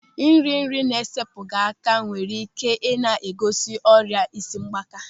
Ịri nri na-esepụghị aka nwere ike ị na-egosi ọrịa isi mgbaaka.